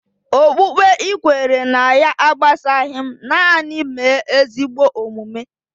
Okpukpe ị kwere ná ya agbasaghi m, nanị mee ezigbo omume